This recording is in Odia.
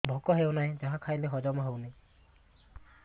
ଭୋକ ହେଉନାହିଁ ଯାହା ଖାଇଲେ ହଜମ ହଉନି